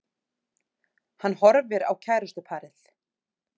Hann horfir á kærustuparið.